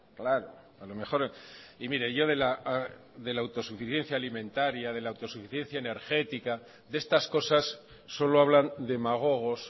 claro a lo mejor y mire yo de la autosuficiencia alimentaria de la autosuficiencia energética de estas cosas solo hablan demagogos